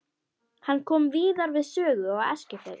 Hann kom víðar við sögu á Eskifirði.